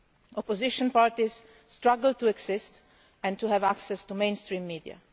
Opposition parties struggle to exist and to have access to mainstream media.